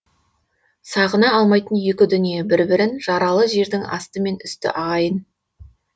сағына алмайтын екі дүние бір бірін жаралы жердің асты мен үсті ағайын